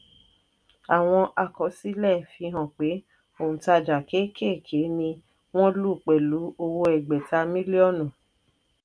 àwọn àkọsílẹ̀ fihàn pé òǹtajà kékèké ni wọ́n lù pẹ̀lú owó ẹgbẹ̀ta mílíọ̀nù.